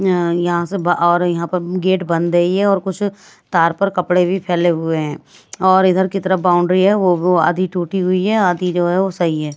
अ यहां से और यहां पर गेट बंद है ये और कुछ तार पर कपड़े भी फैले हुए हैं और इधर की तरफ बाउंड्री है वो आधी टूटी हुई है आधी जो है वो सही है।